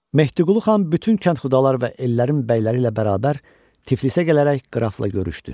Mehdiqulu xan bütün kənd xudalar və ellərin bəyləri ilə bərabər Tiflisə gələrək qrafla görüşdü.